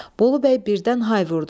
Bolubəy birdən hay vurdu.